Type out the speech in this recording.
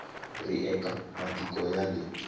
ri eka matiko ya le